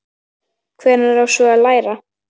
Hvenær á svo að læra?